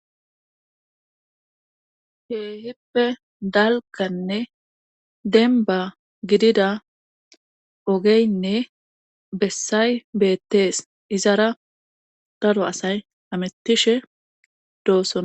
keehippe dalganne denba gidida ogeynne bessay beettees izara daro asay hamittishe doosona